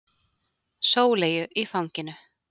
Sóleyju í fanginu.